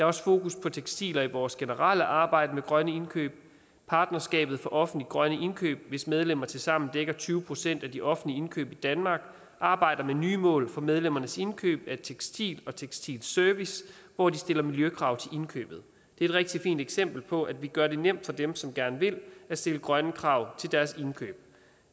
også fokus på tekstiler i vores generelle arbejde med grønne indkøb at partnerskabet for offentlige grønne indkøb hvis medlemmer tilsammen dækker tyve procent af de offentlige indkøb i danmark arbejder med nye mål for medlemmernes indkøb af tekstil og tekstilservice hvor de stiller miljøkrav til indkøbet det er et rigtig fint eksempel på at vi gør det nemt for dem som gerne vil at stille grønne krav til deres indkøb